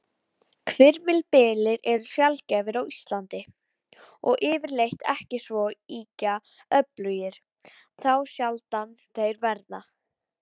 Þetta var frekar ólíkt okkur og við erum ekki vanar því að spila svona.